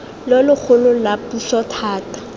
lo logolo la puso thata